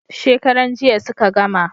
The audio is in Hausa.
Shekaran jiya suka gama